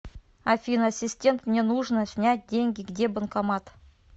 афина ассистент мне нужно снять деньги где банкомат